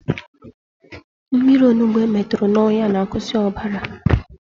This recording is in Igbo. Mmiri onugbo emeturu n'ọnya na-akwụsị ọbara